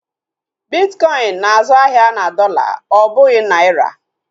Bitkọin na-azụ ahịa na dọla ọ bụghị naira